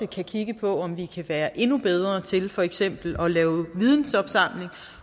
kan kigge på om vi kan være endnu bedre til for eksempel at lave vidensopsamling